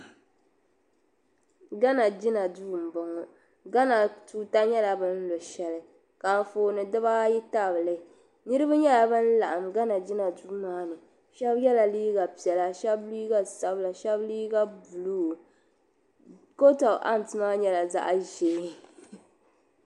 Gana jina duu m bo ŋɔ gana tuuta nyela binlo shɛli ka anfooni dibaayi tabili niribi nyela ban laɣim jina duu maa ni shɛbi yela liiga piɛla shɛb liiga sabila shɛb liiga buluu kot of ham maa nyela zaɣʒee.